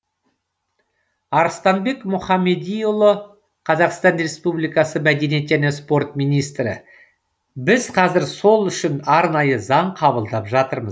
арыстанбек мұхамедиұлы қазақстан республикасы мәдениет және спорт министрі біз қазір сол үшін арнайы заң қабылдап жатырмыз